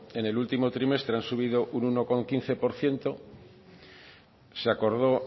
en el último trimestre han subido un uno coma quince por ciento se acordó